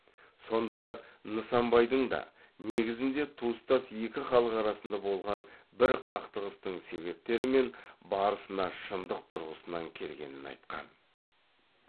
сондай ак нысанбайдың да негізінде туыстас екі халық арасында болған бір кақтығыстың себептері мен барысына шындық тұрғысынан келгенін айтқан